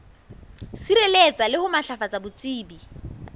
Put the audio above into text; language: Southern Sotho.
sireletsa le ho matlafatsa botsebi